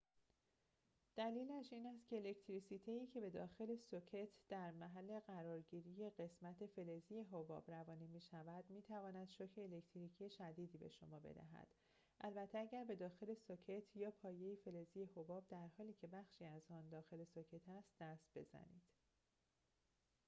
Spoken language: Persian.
دلیلش این است که الکتریسیته‌ای که به داخل سوکت در محل قرارگیری قسمت فلزی حباب روانه می‌شود می‌تواند شوک الکتریکی شدیدی به شما بدهد البته اگر به داخل سوکت یا پایه فلزی حباب در حالی که بخشی از آن داخل سوکت است دست بزنید